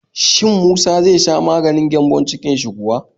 Shin musa zai sha maganin gyambon-cikin shi yau kuwa?